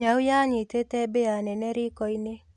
Nyau yanyita mbĩa nene rikoinĩ.